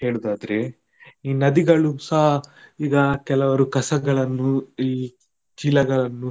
ಹೇಳುದಾದ್ರೆ ಈ ನದಿಗಳುಸ ಈಗ ಕೆಲವರು ಕಸಗಳನ್ನು, ಈ ಚೀಲಗಳನ್ನು.